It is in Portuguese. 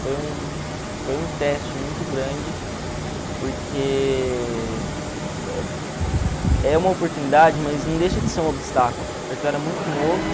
Foi um foi um teste muito grande, porque é uma oportunidade, mas não deixa de ser um obstáculo, porque eu era muito novo.